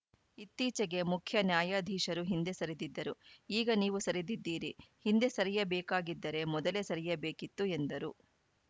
ಇತ್ತೀಚೆಗೆ ಮುಖ್ಯ ನ್ಯಾಯಾಧೀಶರೂ ಹಿಂದೆ ಸರಿದಿದ್ದರು ಈಗ ನೀವು ಸರಿದಿದ್ದೀರಿ ಹಿಂದೆ ಸರಿಯಬೇಕಾಗಿದ್ದರೆ ಮೊದಲೇ ಸರಿಯಬೇಕಿತ್ತು ಎಂದರು